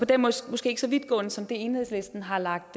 det måske ikke så vidtgående som det enhedslisten har lagt